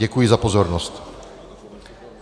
Děkuji za pozornost.